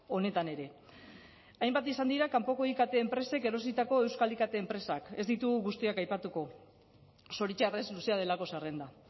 honetan ere hainbat izan dira kanpoko ikt enpresek erositako euskal ikt enpresak ez ditugu guztiak aipatuko zoritxarrez luzea delako zerrenda